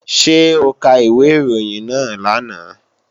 Ṣé o ka ìwé ìròyìn náà lánàá?